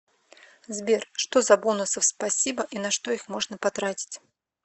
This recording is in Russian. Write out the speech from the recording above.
сбер что за бонусов спасибо и на что их можно потратить